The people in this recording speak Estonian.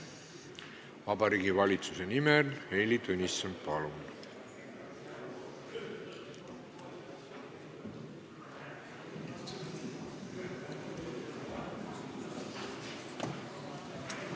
Vabariigi Valitsuse nimel Heili Tõnisson, palun!